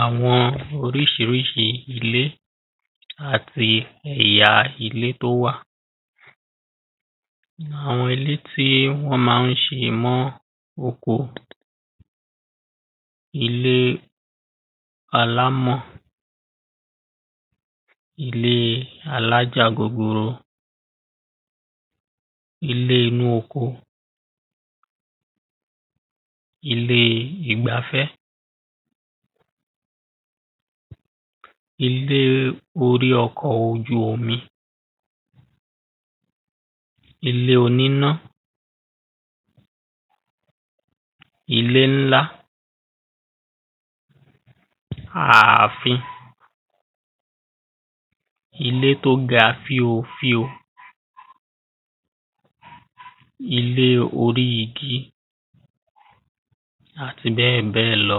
àwọn oríṣiríṣi ilé àti ẹ̀ya ilé tó wà àwọn ilé tí wọ́n máa ń ṣe mọ́ oko ilé alámọ̀ ilé alájàgogoro ilé inú oko ilé ìgbafẹ́ ilé orí ọkọ̀ ojú omi ilé oníná ilé ńlá aàfin ilé tó ga fíofío ilé orí igi àti bẹ́ẹ̀bẹ́ẹ̀ lọ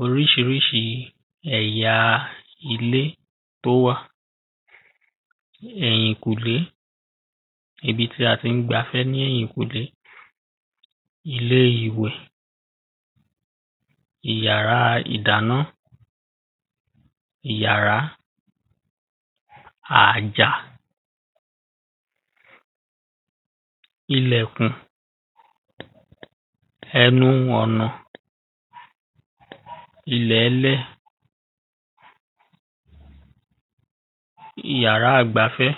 oríṣiríṣi ẹ̀ya ilé tó wà ẹ̀yìnkùlé ibi tí a ti ń gbafẹ́ ní ẹ̀yìnkùlé ilé ìwẹ̀ iyàrá ìdáná iyàrá àjà ilẹ̀kùn ẹnuọ̀nà ilẹ̀lẹ̀ iyàrá-gbafẹ́